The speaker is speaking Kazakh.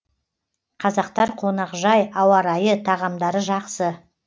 қазақтар қонақжай ауа райы тағамдары жақсы